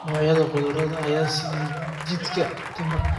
Noocyada khudradda ayaa siiya jidhka tamar.